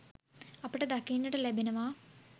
අපට දකින්නට ලැබෙනවා.